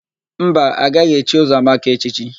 Mba, a gaghị echi Ụzọamaka echichi.